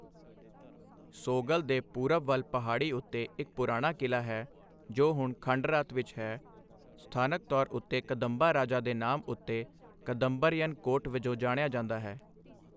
ਸੋਗਲ ਦੇ ਪੂਰਬ ਵੱਲ ਪਹਾੜੀ ਉੱਤੇ ਇੱਕ ਪੁਰਾਣਾ ਕਿਲ੍ਹਾ ਹੈ, ਜੋ ਹੁਣ ਖੰਡਰਾਤ ਵਿੱਚ ਹੈ, ਸਥਾਨਕ ਤੌਰ ਉੱਤੇ ਕਦੰਬਾ ਰਾਜਾ ਦੇ ਨਾਮ ਉੱਤੇ ਕਦਮਬਰਯਨ ਕੋਟ' ਵਜੋਂ ਜਾਣਿਆ ਜਾਂਦਾ ਹੈ।